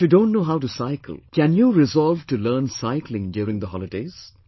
If you don't know how to cycle, can you resolve to learn cycling during the holidays